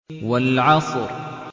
وَالْعَصْرِ